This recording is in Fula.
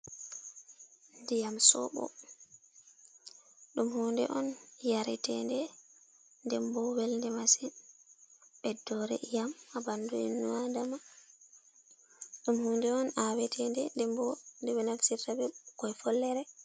Diyam soɓo ɗum hunde on yarete nde dem bo welnde masin, ɓeddore diyam ha ɓandu inno Adama, ɗum hunde on awetede nde, dembo nde ɓe naftirta be ɓikkoi follere.